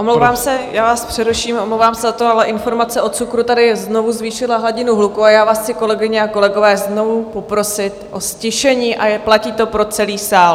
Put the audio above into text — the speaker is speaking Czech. Omlouvám se, já vás přeruším, omlouvám se za to, ale informace o cukru tady znovu zvýšila hladinu hluku a já vás chci, kolegyně a kolegové, znovu poprosit o ztišení, a platí to pro celý sál.